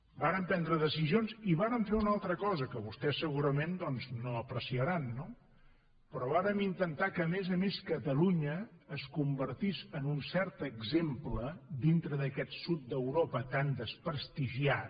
vàrem prendre decisions i vàrem fer una altra cosa que vostès segurament doncs no apreciaran no però vàrem intentar que a més a més catalunya es convertís en un cert exemple dintre d’aquest sud d’europa tan desprestigiat